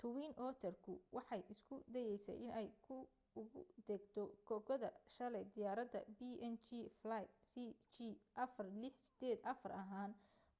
twin otter ku waxay isku dayaysay inay ku ugu degto kokoda shalay diyaarada png flight cg4684 ahaan